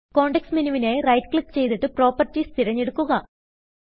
context menu വിനായി right click ചെയ്തിട്ട് properties തിരഞ്ഞെടുക്കുക